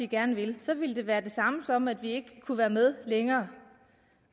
gerne vil så ville det være det samme som at vi ikke kunne være med længere